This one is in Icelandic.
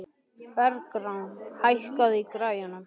Bergrán, hækkaðu í græjunum.